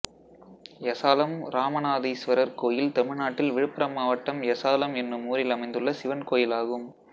எசாலம் ராமநாதீஸ்வரர் கோயில் தமிழ்நாட்டில் விழுப்புரம் மாவட்டம் எசாலம் என்னும் ஊரில் அமைந்துள்ள சிவன் கோயிலாகும்